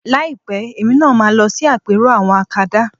Láìpẹ́ èmi náà ma máa lọ sí àpérò àwọn akadá